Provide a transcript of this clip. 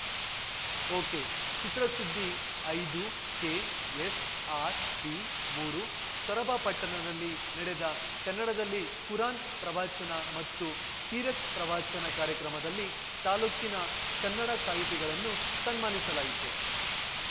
ಒಕೆಚಿತ್ರಸುದ್ದಿ ಐದುಕೆ S R ಬಿಮೂರು ಸೊರಬ ಪಟ್ಟಣದಲ್ಲಿ ನಡೆದ ಕನ್ನಡದಲ್ಲಿ ಕುರಾನ್‌ ಪ್ರವಚನ ಮತ್ತು ಸೀರತ್‌ ಪ್ರವಚನ ಕಾರ್ಯಕ್ರಮದಲ್ಲಿ ತಾಲೂಕಿನ ಕನ್ನಡ ಸಾಹಿತಿಗಳನ್ನು ಸನ್ಮಾನಿಸಲಾಯಿತು